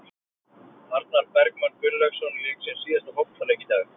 Arnar Bergmann Gunnlaugsson lék sinn síðasta fótboltaleik í dag.